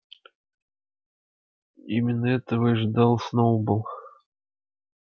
именно этого и ждал сноуболл